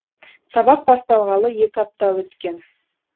сабақ басталғалы екі апта өткен